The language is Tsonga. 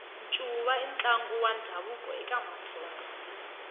ncuva i ntlangu wa ndhavuko eka matsonga